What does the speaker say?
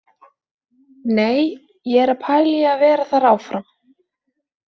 Nei, ég er að pæla í að vera þar áfram.